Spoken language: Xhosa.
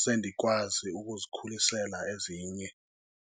sendikwazi ukuzikhulisela ezinye.